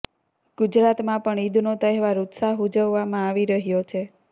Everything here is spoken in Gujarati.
ગુજરાતમાં પણ ઈદનો તહેવાર ઉત્સાહ ઉજવવામાં આવી રહ્યો છે